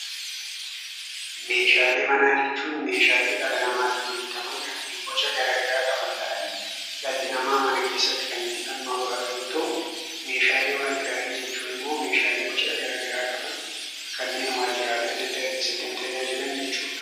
Meeshaalee manaa jechuun meeshaalee dhala namaatiin hojjataman kanneen boca garagaraa qaban ta'anii dhalli namaa mana keessatti kan itti dhimma bahatu yoo ta'u, meeshaalee waajiraalee jechuunimmoo meeshaalee boca garagaraa qaban kanneen waajiraalee adda addaa keessaatti nu tajaajilan jechuudha.